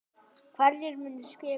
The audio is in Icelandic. Hverjir munu skipa hana?